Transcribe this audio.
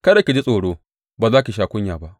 Kada ki ji tsoro; ba za ki sha kunya ba.